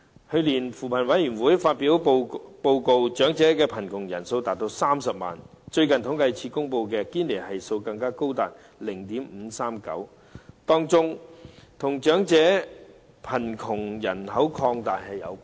去年，扶貧委員會發表報告，長者貧窮人數高達30萬，而最近政府統計處公布的堅尼系數更高達 0.539， 其中原因，與長者貧窮人口擴大有關。